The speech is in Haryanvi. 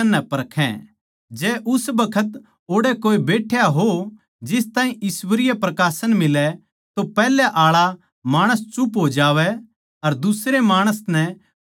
जै उस बखत ओड़ै कोए बैठ्या हो जिस ताहीं ईश्वरीय प्रकाशन मिलै तो पैहले आळा माणस चुप हो जावै अर दुसरे माणस नै बोल्लण दे